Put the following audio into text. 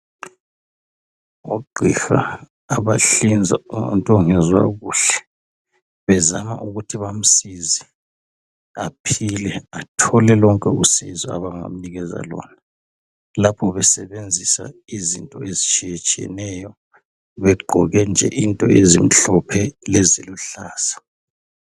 Ogqiha abahlinza umuntu ongezwa kuhle, bezama ukuthi bamsize aphile, athole lonke usizo abangamnikeza lona lapho besebenzisa izinto ezitshiyetshiyeneyo, begqoke nje into ezimhlophe leziluhlaza.